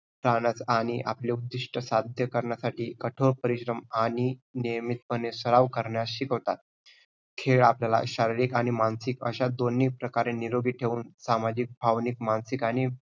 राहण्यास आणि आपले उद्दिष्ट साध्य करण्यासाठी कठोर परिश्रम आणि नियमितप्रमाणे सराव करण्यास शिकवतात. खेळ आपल्याला शारीरिक आणि मानसिक आशा दोन्ही प्रकारे निरोगी ठेवून सामाजिक, भावनिक, मानसिक आणि